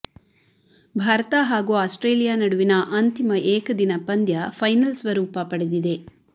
ಭಾರತ ಹಾಗೂ ಆಸ್ಟ್ರೇಲಿಯಾ ನಡುವಿನ ಅಂತಿಮ ಏಕದಿನ ಪಂದ್ಯ ಫೈನಲ್ ಸ್ವರೂಪ ಪಡೆದಿದೆ